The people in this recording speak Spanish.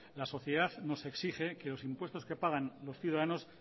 la sociedad nos exige que los impuestos que pagan los ciudadanos